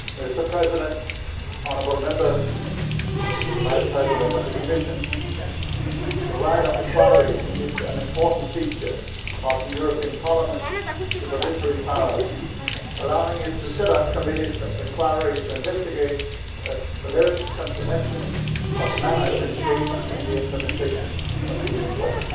Mr President, honourable Members, Mr Vice President of the Commission, the right of inquiry is an important feature of the European Parliament's supervisory powers, allowing it to set up committees of inquiry to investigate alleged maladministration in the implementation of Union law.